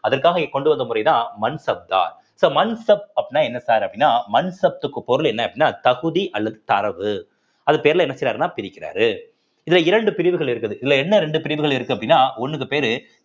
அதற்காக இ~ கொண்டு வந்த முறைதான் மன்சப்தார் so மன்சப் அப்படின்னா என்ன sir அப்படின்னா மன்சப்த்துக்கு பொருள் என்ன அப்படின்னா தகுதி அல்லது தரவு அது பேர்ல என்ன செய்றாருன்னா பிரிக்கிறாரு இதுல இரண்டு பிரிவுகள் இருக்குது இதுல என்ன இரண்டு பிரிவுகள் இருக்கு அப்படின்னா ஒன்னுக்கு பேரு